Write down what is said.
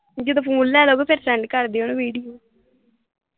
ਜਦੋਂ ਫੋਨ ਲੈ ਲੋਗੇ ਤੇ ਫੇਰ ਸੈਂਡ ਕਰਦਿਓ ਵੀਡੀਓ